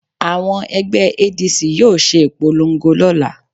Àwọn ẹgbẹ́ ADC yóò ṣe ìpolongo lọ́la